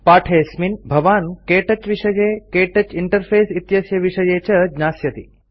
पाठेऽस्मिन् भवान् क्तौच विषये क्तौच इंटरफेस इत्यस्य विषये च ज्ञास्यति